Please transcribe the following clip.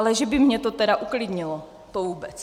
Ale že by mě to tedy uklidnilo, to vůbec.